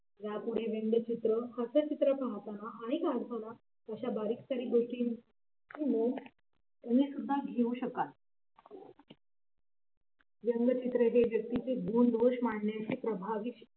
यापुढे व्यंगचित्र हास्यचित्र पाहताना आणि काढताना अशा बारीकसारीक गोष्टी घेऊ शकाल व्यंगचित्र हे व्यक्तीचे गुण दोष मांडण्याचे प्रभावी